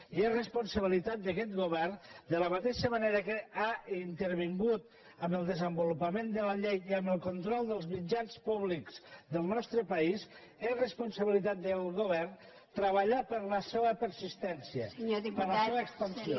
i és responsabilitat d’aquest go·vern de la mateixa manera que ha intervingut en el desenvolupament de la llei i en el control dels mitjans públics del nostre país és responsabilitat del govern treballar per la seua persistència per la seua expansió